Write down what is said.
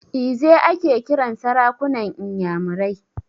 Eze ake kiran sarakunan inyamurai.